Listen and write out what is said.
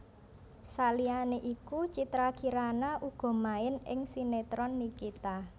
Saliyané iku Citra Kirana uga main ing sinetron Nikita